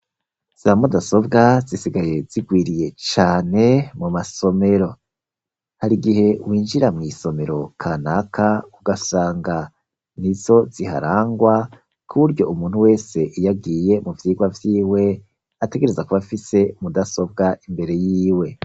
Za mudasobwa zisigaye zigwiriye cane mu masomero hari gihe winjira mw'isomero kanaka ugasanga nizo ziharangwa kuburyo umuntu wese iyo agiye mu vyigwa vyiwe ategereza kuba afise mu dasobwa imbere yiwe.